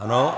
Ano.